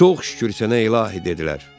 Çox şükür sənə ilahi, dedilər.